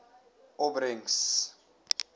opbrengs